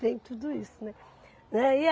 Tem tudo isso, né? Né e